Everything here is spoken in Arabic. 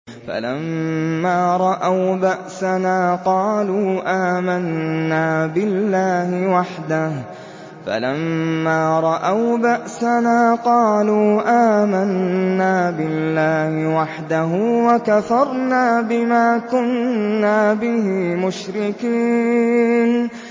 فَلَمَّا رَأَوْا بَأْسَنَا قَالُوا آمَنَّا بِاللَّهِ وَحْدَهُ وَكَفَرْنَا بِمَا كُنَّا بِهِ مُشْرِكِينَ